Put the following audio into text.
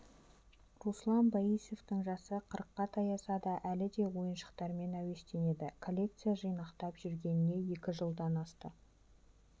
руслан боисовтың жасы қырыққа таяса да әлі де ойыншықтармен әуестенеді коллекция жинақтап жүргеніне екі жылдан астам